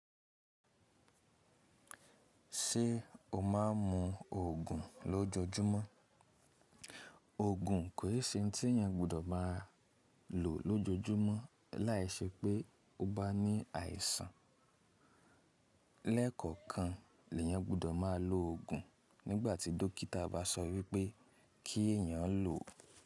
Ṣé o má a ń mu òògùn lójoojúmọ́? Òògùn kò ń se ohun tí èèyàn gbudọ̀ má a lò lójoojúmọ́ láìṣẹ́ pé ó bá ní àìsàn. Lẹ́kọ̀ọ̀kan lè yáń gbudọ̀ má a lò òògùn nígbàtí dókítà bá sọ wípé kí èèyàn lò ọ́.